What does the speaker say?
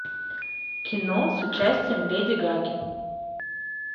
кино с участием леди гаги